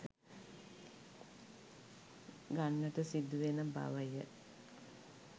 ගන්නට සිදුවෙන බවය.